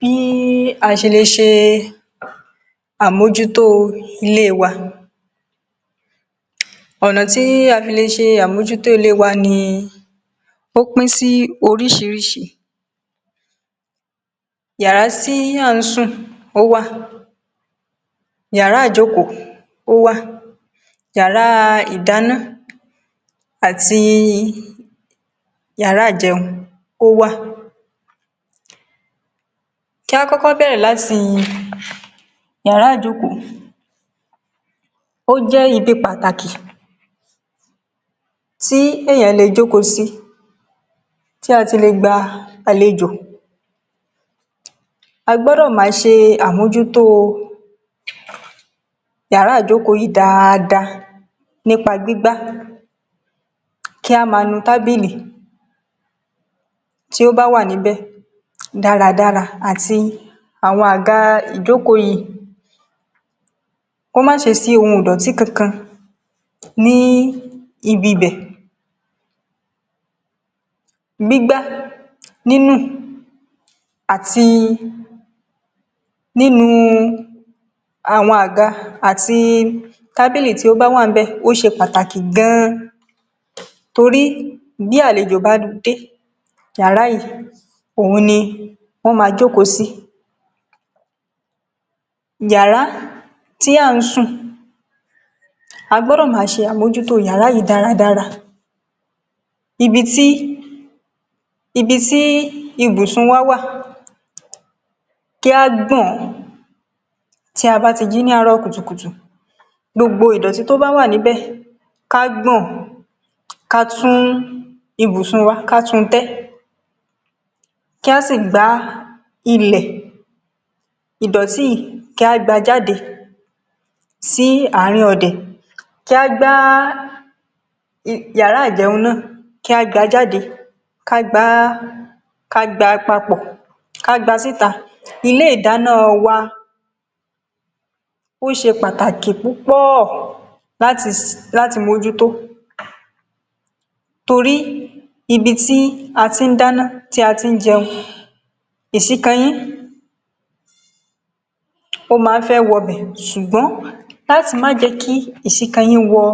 Bí a ṣelè ṣe àmojútó ilé wa, ọ̀nà tí a fi lè ṣe àmojútó ilé wa ni, ó pín sí oríṣiríṣi, yàrá tí à ń sùn ó wà, yàrá ìjókòó ó wà, yàrá ìdáná, àti yàrá jẹun, ó wà. Kí a kọ́kọ́ bẹ̀rẹ̀ láti yàrá ìjókòó, ó jẹ́ ibi pàtàkì tí èèyàn lè jókòó sí, tí a ti lè gba àlejò, a gbọ́dọ̀ máa ṣe àmojútó yàrá ìjókòó yìí dáadáa nípá gbígbá, kí a máa nu tábìlì tí ó bá wà níbẹ̀ dáradára àti àwọn àga ìjókòó yìí, kó má ṣe sí ohun ìdọ̀tí kankan ní ibibẹ̀, gbígbá, nínù àti nínu àwọn àga àti tábìlì tí ó bá wà ńbẹ̀, ó ṣe pàtàkì gan-an, torí bí àlejò bá dé, yàrá yìí, òhun ni wọ́n máa jókòó sí. Yàrá tí à ń sùn, á gbọ́dọ̀ máa ṣe àmojútó yàrà yìí dáradára, ibi tí, ibi tí ibùnsùn wà, kí á gbọ̀n ọ́n tí a bá ti jí ní àárọ̀ kùtùkùtù, gbogbo ìdọ̀tí tó bá wà níbẹ̀, ká gbọ̀n ón, ká tún ibìsùn wa, ká tun tẹ́, kí á sì gbá ilẹ̀, ìdọ̀tí yìí kí a gbá a jáde sí àárín ọ̀dẹ̀, kí a gbá um yàrá ìjẹun náà ,kí a gba jáde, ká gbá a, ká gbá a papọ̀, ká gba síta. Ilé ìdáná wa, ó ṣe pàtàkì púpọ̀ láti um láti mójútó, torí ibi tí a ti ń dáná, tí a ti ń jẹun, èsíkanyín, ó máa ń fẹ́ wọbẹ̀, ṣùgbọ́n láti má jẹ́ kí èsíkayìn wọ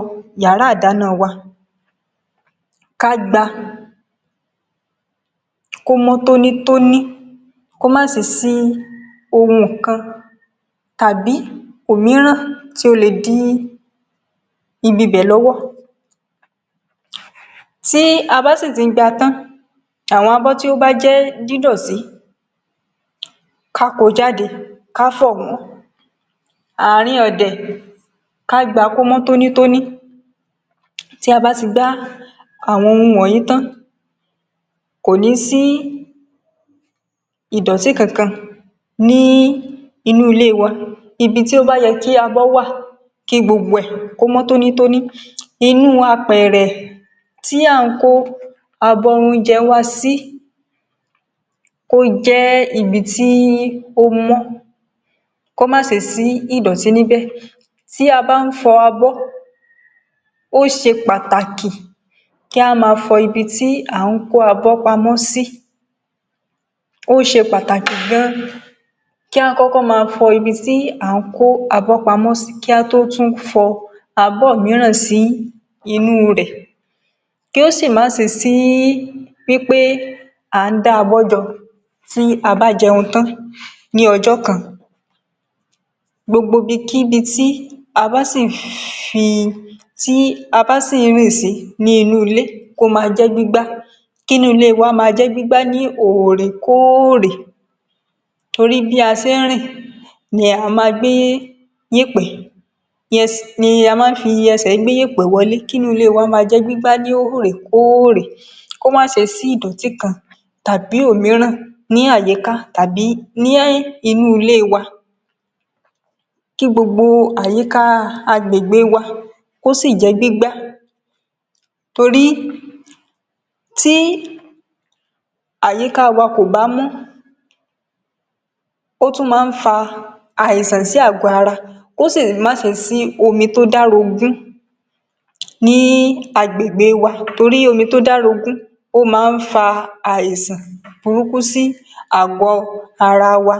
yàrá ìdáná wa, ká gba, kó mọ́ tónítóní, kó má ṣe sí ohun kan tàbí òmíràn tí ó le dí ibibẹ̀ lọ́wọ́. Tí á bá sì ti gba tán, àwọn abọ́ tí ó bá jẹ́ dídọ̀tí, ká kó o jáde, ká fọ̀ wọ́n, ààrin ọ̀dẹ̀, ká gba kó mọ́ tónítóní, tí a bá ti gbá àwọn ohun wọ̀nyí tán, kò ní sí ìdọ̀tí kankan ní inú ilé wa. Ibi tó bá yẹ kí abó wà, kí gbogbo ẹ̀ ,kó mọ́ tónítóní, inú apẹ̀rẹ̀ tí à ń kó abọ́ oúnjẹ wa sí, kó jẹ́ ibi tí ó mọ́, kó má sí ìdọ̀tí níbẹ̀, tí a bá ń fọ abó, ó ṣe pàtàkì kí a máa fọ ibi tí à ń kó abọ́ pamọ́ sí, ó ṣe pàtàkì gan-an, kí a kọ́kọ́ máa fọ ibi tí à ń kó abọ́ pamọ́ sí, kí a tó tún fọ abọ́ mìíràn sí inú rẹ̀, kí ó sì má ṣe sí pé à ń dá abọ́ jọ tí a bá jẹun tán ní ọjọ́ kan. Gbogbo ibikíbi tí a bá sì um fi, tí a bá sì ń rìn sí ní inú ilé, kó máa jẹ́ gbígbá, kí inú ilé wa máa jẹ́ gbígbá ní òòrèkóòrè, torí bí a ṣe ń rìn ní a máa ń gbé yẹ̀pẹ̀ um ni a máa fi ẹsẹ̀ gé iyẹ̀pẹ̀ wọlé, kí inú ilé wa máa jẹ́ gbígbá ní òòrèkóòrè, kó má ṣe sí ìdọ̀tí kan tàbí òmíràn ní àyíká tàbí ní inú ilé wa. Kí gbogbo àyíká agbègbè wa kó sì jẹ́ gbígbá, torí tí àyíká wa kò bá mọ́, ó tún máa ń fa àìsàn sí àgọ́ ara, kó sì má ṣe sí omi tó dá rogún, ní agbègbè wa, torí omi tó dá rogún ó máa ń fa àìsàn burúkí sí àgọ́ ara wa